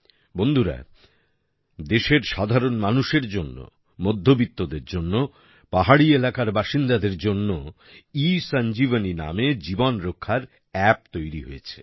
বন্ধুগণ দেশের সাধারণ মানুষের জন্য মধ্যবিত্তদের জন্য পাহাড়ি এলাকার বাসিন্দাদের জন্য ই সঞ্জীবনী নামে জীবন রক্ষার অ্যাপ তৈরি হয়েছে